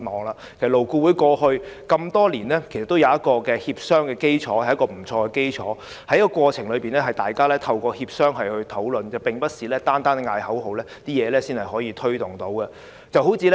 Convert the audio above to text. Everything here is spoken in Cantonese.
其實，勞顧會多年來也具備良好協商的基礎，在過程中，大家透過協商進行討論，並不是單靠叫口號便能推動工作的，最低工資便是一個很好的例子。